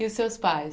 E os seus pais?